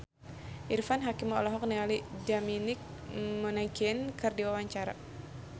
Irfan Hakim olohok ningali Dominic Monaghan keur diwawancara